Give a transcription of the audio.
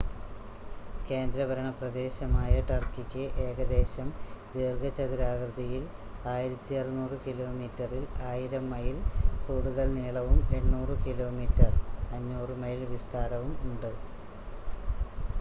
കേന്ദ്രഭരണപ്രദേശമായ ടർക്കിക്ക് ഏകദേശം ദീർഘചതുരാകൃതിയിൽ 1,600 കിലോമീറ്ററിൽ 1,000 മൈല്‍ കൂടുതൽ നീളവും 800 കിലോമീറ്റർ 500 മൈല്‍ വിസ്താരവും ഉണ്ട്